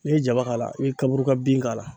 N'i ye jaba k'a la i be kaburuka bin k'a la